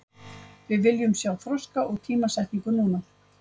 Við viljum sjá þroska og tímasetningu núna.